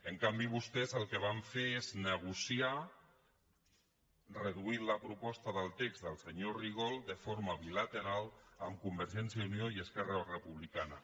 en canvi vostès el que van fer és negociar reduint la proposta del text del senyor rigol de forma bilateral amb convergència i unió i esquerra republicana